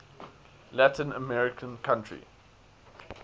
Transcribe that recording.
latin american country